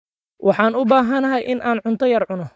Waxaan u baahday in aan cunto yar cuno.